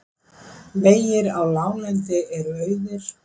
Vegir á láglendi eru auðir